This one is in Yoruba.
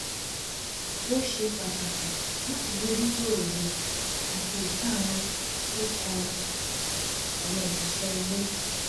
ó ṣe pàtàkì láti bójútó òye àti ìkáàánú tó kan àwọn òṣìṣẹ́ ilé